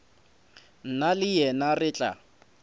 nna le yena re tla